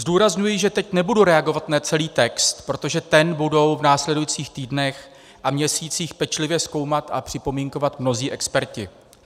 Zdůrazňuji, že teď nebudu reagovat na celý text, protože ten budou v následujících týdnech a měsících pečlivě zkoumat a připomínkovat mnozí experti.